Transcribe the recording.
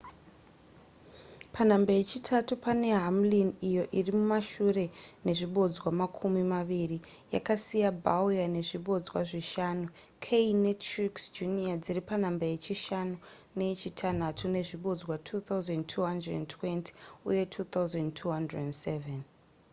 panhamba yechitatu pane hamlin iyo iri mumashure nezvibodzwa makumi maviri yakasiya bowyer nezvibodzwa zvishanu kahne netruex jr dziri panhamba yechishanu neyechitanhatu nezvibodzwa 2,220 uye 2,207